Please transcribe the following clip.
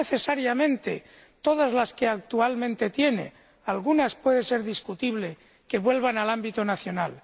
No necesariamente todas las que actualmente tiene, algunas puede ser discutible que vuelvan al ámbito nacional.